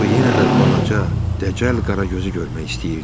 O yenə də balaca, dəcəl Qaragözü görmək istəyirdi.